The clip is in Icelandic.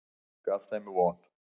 Gaf þeim von.